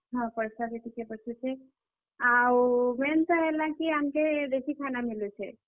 ହଁ, ପଏସା ବି ଟିକେ ବଞ୍ଚିୁଛେ ଆଉ ମେନ୍ ତ ହେଲା କି ଆମ୍କୁ ଦେଶି ଖାନା ମିଲୁଛେ।